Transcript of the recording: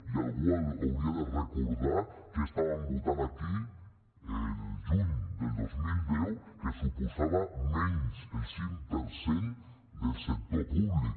i algú hauria de recordar què estàvem votant aquí el juny del dos mil deu que suposava menys el cinc per cent del sector públic